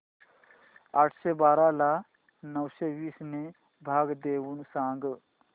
आठशे बारा ला नऊशे वीस ने भाग देऊन सांग